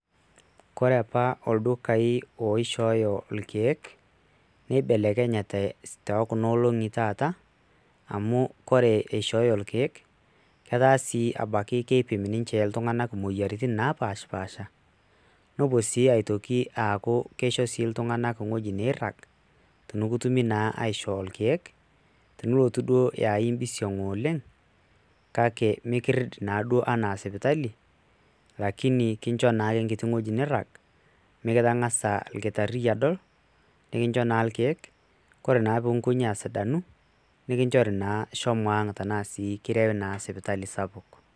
kore apa oldukai oishoyo ilkeek neibelekenyate tokuna olongi tata, amu kore ishoyo ilkeek eta si ebaiki keipim ninche iltunganak imoyiaritin napashipasha, nepuo si aitoki aku kisho si iltunganak ewueji nairag, pekitumi na aisho ilkeek niok duo aa ekimpisiong oleng, kake mikiret naduo ena sipitali lakini ekinchoo na enkiti weuji nirag, mikitangasa enkitari adol, nikincho na ilkeek ore peyie inkoji asidanu nikinchori shomo ang ashu kirewi naa sipitali sapuk,